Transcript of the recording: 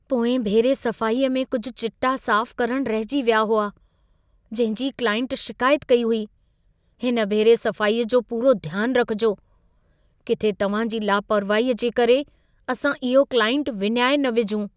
पोएं भेरे सफ़ाईअ में कुझु चिटा साफ़ करण रहिजी विया हुआ । जंहिं जी क्लाइंट शिकायत कई हुई। हिन भेरे सफ़ाईअ जो पूरो ध्यान रखिजो। किथे तव्हां जी लापरवाहीअ जे करे असां इहो क्लाइंट विञाए न विझूं।